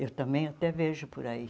Eu também até vejo por aí.